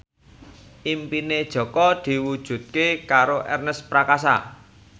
impine Jaka diwujudke karo Ernest Prakasa